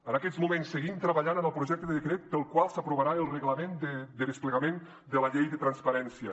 en aquests moments seguim treballant en el projecte de decret pel qual s’aprovarà el reglament de desplegament de la llei de transparència